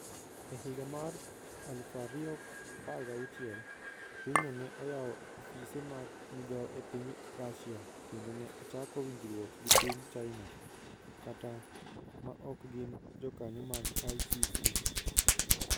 E higa mar 2016, pinyno ne oyawo ofise mag migao e piny Russia kendo ne ochako winjruok gi piny China (ma ok gin jokanyo mag ICC).